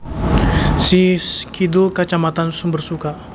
Sish kidul Kacamatan Sumbersuka